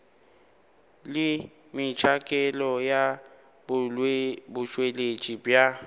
le metšhakelo ya botšweletši bja